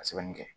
A sɛbɛnni kɛ